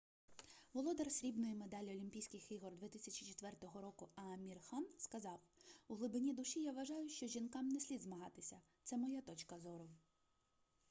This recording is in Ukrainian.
володар срібної медалі олімпійських ігор 2004 року аамір хан сказав у глибині душі я вважаю що жінкам не слід змагатися це моя точка зору